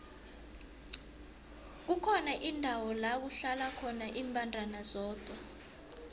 kukhona indawo lakuhlala khona imbandana zodwa